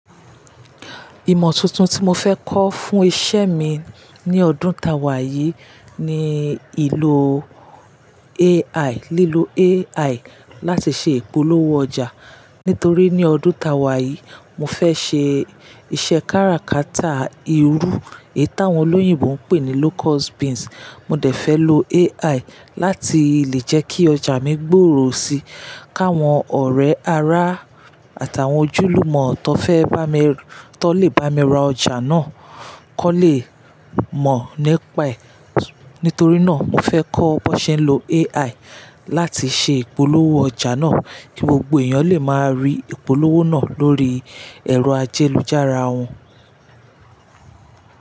Ìmọ̀ tuntun tí mo fẹ́ kọ́ fún iṣẹ́ mi ní ọdún táwà yìí ni ìlò AI, lílo AI láti ṣe ìpolówó ọjà. Nítorí ní ọdún táwà yìí, mo fẹ́ ṣe iṣẹ́ kára kátà irú èyí tí àwọn olóyìnbo ń pè ní locust beans. Mo dẹ̀ fẹ́ lo AI láti lè jẹ́ kí ọjà mi gbòòrò si, káwọn ọ̀rẹ́ ara àtàwọn ojúlùmọ̀ tó fẹ́ bá mi, tó lè bá mi ra ọjà náà kọ lè mọ̀ nípaẹ̀. Nítorí náà, mo fẹ́ kọ́ bó ṣe ń lo AI láti ṣe ìpolówó ọjà náà, kí gbogbo èèyàn lè máa rí ìpolówó náà lórí ẹ̀rọ ayélujára wọn.